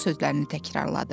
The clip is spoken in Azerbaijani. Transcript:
onun sözlərini təkrarladı.